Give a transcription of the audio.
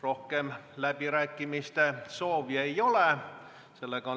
Rohkem läbirääkimise soovi ei ole.